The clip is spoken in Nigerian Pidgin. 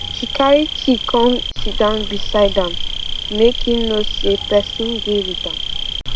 she carry tea come sitdown beside am make him know say person dey with am